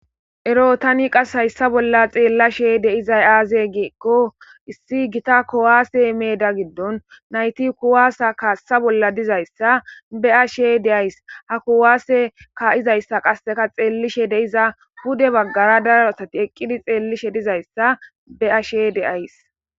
Ero tani qas hayssa bolla xeellashe deizay aaze gieqqo issi gita kowaase meeda giddon nayti kuwaasa kaassa bolla dizayssa beashe deays ha kuwaase ka7izayssa qasseka xeellishe deiza hude baggara daro asati eqqidi xeellishe dizayssa be'ashe deays.